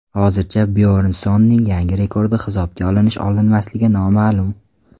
Hozircha Byornssonning yangi rekordi hisobga olinish-olinmasligi noma’lum.